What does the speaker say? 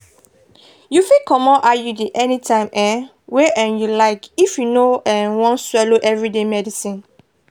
you fit comot iud anytime um wey um you like if you no um wan swallow everyday medicines.